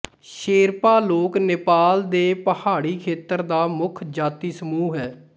ਸ਼ੇਰਪਾ ਲੋਕ ਨੇਪਾਲ ਦੇ ਪਹਾੜੀ ਖੇਤਰ ਦਾ ਮੁੱਖ ਜਾਤੀ ਸਮੂਹ ਹੈ